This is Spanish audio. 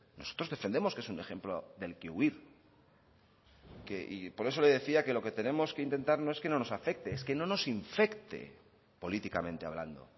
nosotros defendemos que es un ejemplo del que huir y por eso le decía que lo que tenemos que intentar no es que no nos afecte es que no nos infecte políticamente hablando